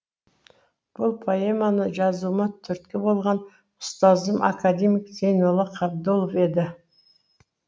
бұл поэманы жазуыма түрткі болған ұстазым академик зейнолла қабдолов еді